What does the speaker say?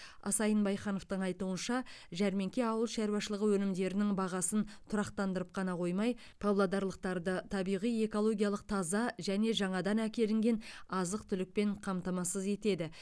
асайын байхановтың айтуынша жәрмеңке ауыл шаруашылығы өнімдерінің бағасын тұрақтандырып қана қоймай павлодарлықтарды табиғи экологиялық таза және жаңадан әкелінген азық түлікпен қамтамасыз етеді